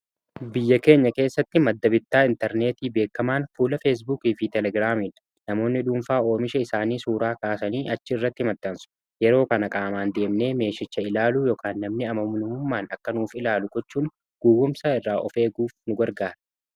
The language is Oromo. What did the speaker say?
biyya keenya keessatti maddabitaa intarneetii beekamaan fuula feesbuukii fi telegiraamii namoonni dhuunfaa oomisha isaanii suuraa kaasanii achi irratti himaxansu yeroo kana qaamaan deemnee meeshicha ilaaluu ykn namni amammummaan akka nuuf ilaalu gochuun gowwumsa irraa ofeeguuf nu gargaara.